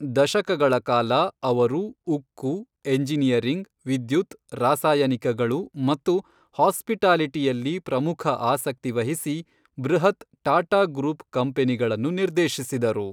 ದಶಕಗಳ ಕಾಲ, ಅವರು ಉಕ್ಕು, ಎಂಜಿನಿಯರಿಂಗ್, ವಿದ್ಯುತ್, ರಾಸಾಯನಿಕಗಳು ಮತ್ತು ಹಾಸ್ಪಿಟಾಲಿಟಿಯಲ್ಲಿ ಪ್ರಮುಖ ಆಸಕ್ತಿ ವಹಿಸಿ ಬೃಹತ್ ಟಾಟಾ ಗ್ರೂಪ್ ಕಂಪನಿಗಳನ್ನು ನಿರ್ದೇಶಿಸಿದರು.